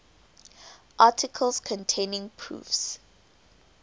articles containing proofs